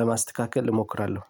ለማስተካከል እሞክራለሁ።